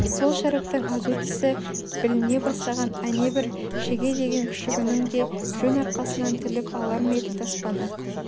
сол шәріптің азу тісі біліне бастаған әнебір шеге деген күшігінің де жон арқасынан тіліп алар ме еді таспаны